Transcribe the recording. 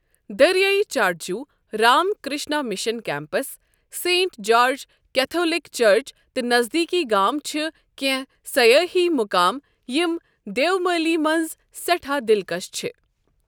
دٔریایہِ چاٹجو، Ram Krishna mission campus, saint George Catholic church تہٕ نزدیٖکی گام چھِ کیٚنٛہہ سَیٲحی مُقام یِم دِیومالی منٛز سیٚٹھا دِلکش چھِ ۔